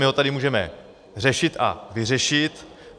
My ho tady můžeme řešit a vyřešit.